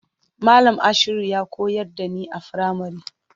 Malam Ashiru ya koyar da ni a firamari.